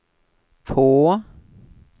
på